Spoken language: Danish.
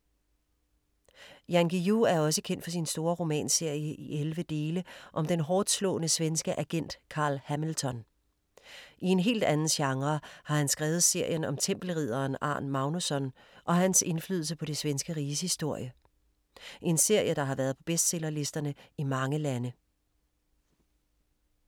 Jan Guillou er også kendt for sin store romanserie i 11 dele om den hårdtslående svenske agent Carl Hamilton. I en helt anden genre har han skrevet serien om tempelridderen Arn Magnusson og hans indflydelse på det svenske riges historie. En serie der har været på bestsellerlisterne i mange lande.